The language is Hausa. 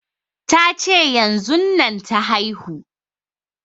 Ta ce yanzun nan ta haihu